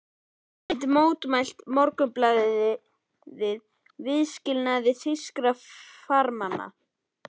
Enn mótmælti Morgunblaðið viðskilnaði þýskra farmanna.